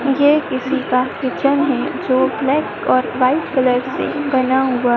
ये किसी का किचन है जो ब्लैक और व्हाइट कलर से बना हुआ--